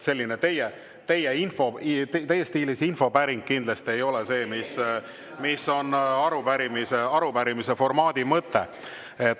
Selline teie stiilis infopäring kindlasti ei vasta sellele, mis on arupärimise formaadi mõte.